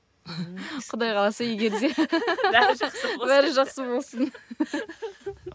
құдай қаласа егер де бәрі жақсы болсын бәрі жақсы болсын